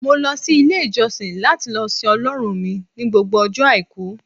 mo lo sí ilé ìjósìn lati lo sìn ọlọrun mi ni gbogbo ojo aiku